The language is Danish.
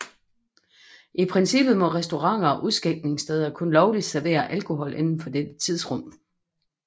I princippet må restauranter og udskænkningssteder kun lovligt servere alkohol inden for dette tidsrum